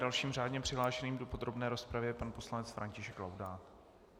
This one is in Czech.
Dalším řádně přihlášeným do podrobné rozpravy je pan poslanec František Laudát.